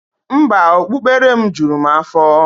Mba, okpukpere m juru m afo.